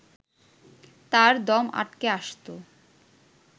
তার দম আটকে আসত